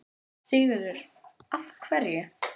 Sigurður: Af hverju?